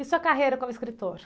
E sua carreira como escritor?